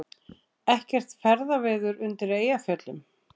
Ekkert ferðaveður undir Eyjafjöllum